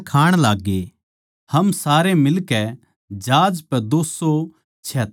हम सारे मिलकै जहाज पै दो सौ छिहत्तर जणे थे